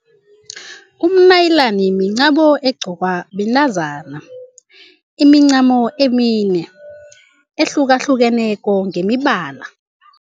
Umnayilani mincamo egqokwa bentazana, imincamo emine ehlukahlukeneko ngemibala.